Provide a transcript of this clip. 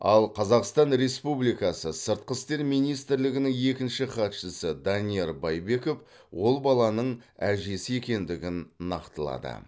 ал қазақстан республикасы сыртқы істер министрлігінің екінші хатшысы данияр байбеков ол баланың әжесі екендігін нақтылады